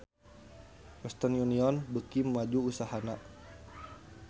Western Union beuki maju usahana